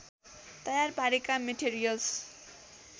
तयार पारेका मेटेरियल्स्